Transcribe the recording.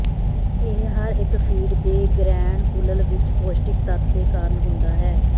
ਇਹ ਹਰ ਇੱਕ ਫੀਡ ਦੇ ਗ੍ਰੈਨਕੁਲਲ ਵਿੱਚ ਪੌਸ਼ਟਿਕ ਤੱਤ ਦੇ ਕਾਰਨ ਹੁੰਦਾ ਹੈ